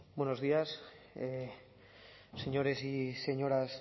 buenos días señores y señoras